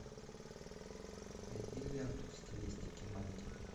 найди ленту в стилистике манги